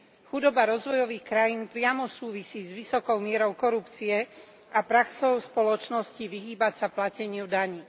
Chudoba rozvojových krajín priamo súvisí s vysokou mierou korupcie a praxou spoločností vyhýbať sa plateniu daní.